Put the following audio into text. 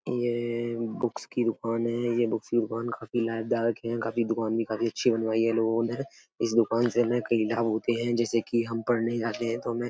ये बुक्स की दुकान हैं। ये बुक्स की दुकान काफी लाभदायक है। काफी दुकान भी काफी अच्छी बनवाई है लोगों ने। इस दुकान से हमें कई लाभ होते हैं जैसे कि हम पढ़ने जाते हैं तो हमें --